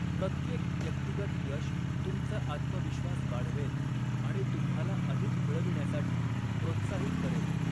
प्रत्येक व्यक्तिगत यश तुमचा आत्मविश्वास वाढवेल आणि तुम्हाला अधिक मिळविण्यासाठी प्रोत्साहित करेल.